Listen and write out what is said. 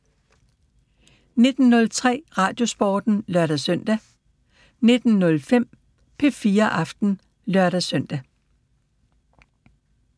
19:03: Radiosporten (lør-søn) 19:05: P4 Aften (lør-søn)